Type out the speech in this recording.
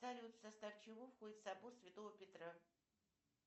салют в состав чего входит собор святого петра